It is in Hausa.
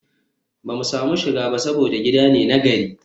ba mu samu shiga ba saboda gida ne na gari